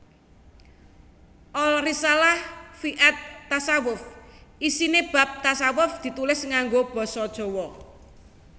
Al Risalah fi at Tasawwuf isiné bab tashawuf ditulis nganggo basa Jawa